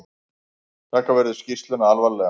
Taka verður skýrsluna alvarlega